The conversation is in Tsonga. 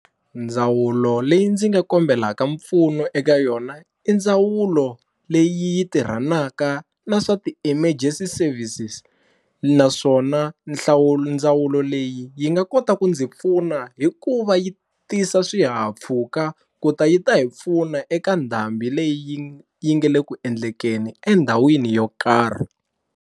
Ndzawulo leyi ndzi nga kombelaka mpfuno eka yona i ndzawulo leyi tirhanaka na swa ti-emergency services naswona nhlawulo ndzawulo lo leyi yi nga kota ku ndzi pfuna hi ku va yi tisa swihahampfhuka ku ta yi ta hi pfuna eka ndhambi leyi yi nge le ku endlekeni endhawini yo karhi.